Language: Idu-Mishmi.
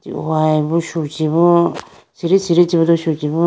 prugayi bo shu chibu siri siri chibudo chu chibu.